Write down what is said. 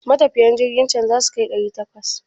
Matafiyan jirkin can zasu kai ɗari takwas?